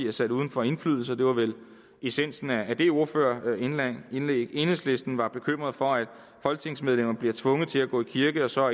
er sat uden for indflydelse og det var vel essensen af det ordførerindlæg enhedslisten var bekymret for at folketingsmedlemmer bliver tvunget til at gå i kirke og så